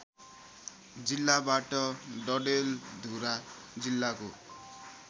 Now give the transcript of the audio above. जिल्लाबाट डडेलधुरा जिल्लाको